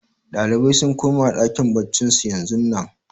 Ɗalibai sun koma ɗakin baccin su yanzun nan